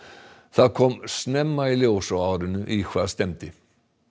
það kom snemma í ljós á árinu í hvað stefndi